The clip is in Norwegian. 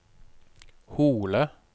Hole